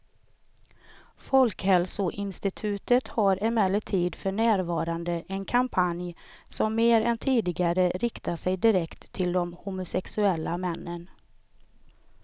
Folkhälsoinstitutet har emellertid för närvarande en kampanj som mer än tidigare riktar sig direkt till de homosexuella männen.